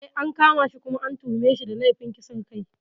Eh, an kama shi kuma an tuhume shi da laifin kisan kai.